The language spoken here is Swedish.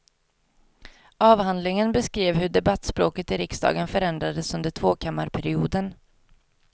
Avhandlingen beskrev hur debattspråket i riksdagen förändrades under tvåkammarperioden.